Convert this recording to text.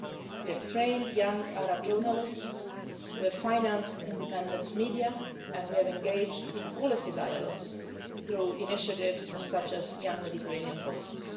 We have trained young Arab journalists, we have financed independent media and we have engaged in policy dialogues through initiatives such as Young Mediterranean Voices.